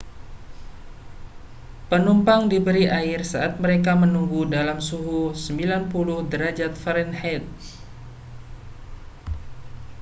penumpang diberi air saat mereka menunggu dalam suhu 90 derajat fahrenheit